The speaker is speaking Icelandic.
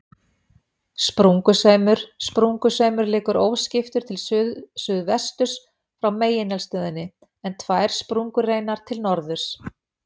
Sprungusveimur Sprungusveimur liggur óskiptur til suðsuðvesturs frá megineldstöðinni, en tvær sprungureinar til norðurs.